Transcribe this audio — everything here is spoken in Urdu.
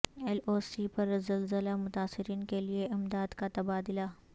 ایل او سی پر زلزلہ متاثرین کے لیے امداد کا تبادلہ